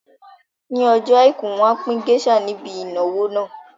Ní ọjọ́ àìkú, wọn á pín géésà níbi ìnáwó náà